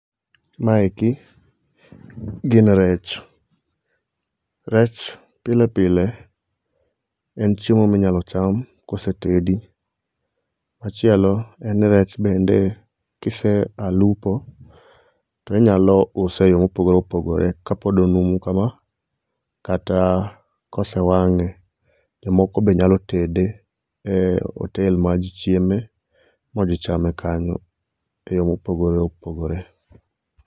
Maeki gin rech, rech pile pile en chiemo minyalo cham kosetedi. Machielo, en rech bende kisea lupo to inyalo use e yo mopogore opogore kapod onumu kama kata kosewang'e. Jomoko be nyalo tede e otel maji chieme ma ji chame kanyo e yo mopogore opogore.